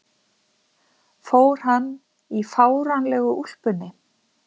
fór hann í fáránlegu úlpunni